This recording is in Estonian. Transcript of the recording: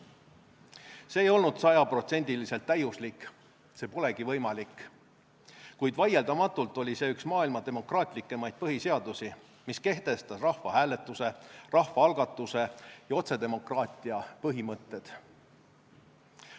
See ei olnud sajaprotsendiliselt täiuslik, see polegi võimalik, kuid vaieldamatult oli see üks maailma demokraatlikumaid põhiseadusi, mis kehtestas rahvahääletuse, rahvaalgatuse ja otsedemokraatia põhimõtted.